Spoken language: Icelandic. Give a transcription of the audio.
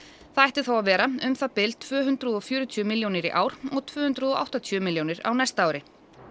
það ætti þá að vera um það bil tvö hundruð og fjörutíu milljónir í ár og tvö hundruð og áttatíu milljónir á næsta ári